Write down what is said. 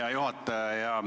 Hea juhataja!